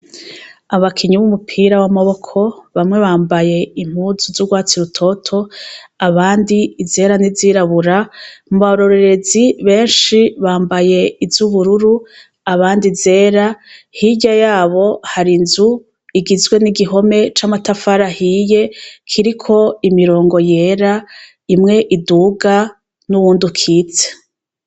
Abakinyi b'umupira w'amaboko bamwe bambaye impuzu z'urwatsi rutoto, abandi izera n'izirabura mu barorerezi benshi bambaye iz'ubururu abandi zera, hirya yabo hari inzu igizwe n'igihome c'amatafari ahiye kiriko imirongo yera, imwe iduga n'uwundi ukitse.